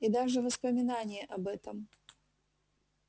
и даже воспоминание об этом